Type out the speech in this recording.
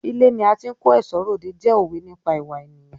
Ilé ni a ti ń kó ẹ̀ṣọ́ r'òde jẹ́ òwe nípa ìwà ènìyàn.